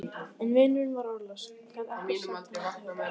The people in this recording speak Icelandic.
En vinurinn var orðlaus, gat ekkert sagt honum til huggunar.